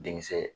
Denkisɛ